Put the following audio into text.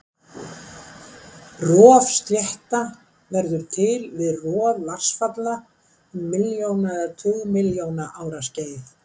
Rofslétta verður til við rof vatnsfalla um milljóna eða tugmilljóna ára skeið.